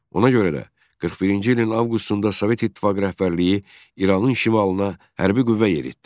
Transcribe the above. Ona görə də, 41-ci ilin avqustunda Sovet İttifaqı rəhbərliyi İranın şimalına hərbi qüvvə yeritdi.